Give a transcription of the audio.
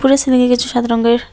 উপরে সিলিংয়ে কিছু সাদা রঙের--